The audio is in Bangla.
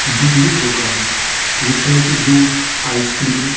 দুধের দোকান যেখানে একটি দুধ আইস ক্রাইম --